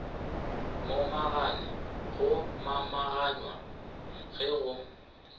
momagane go momaganywa ge go